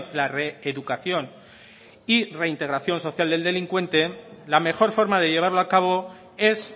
la reeducación y reintegración social del delincuente la mejor forma de llevarlo a cabo es